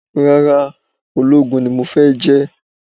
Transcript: Rárá, ológun ni mo fẹ́ jẹ́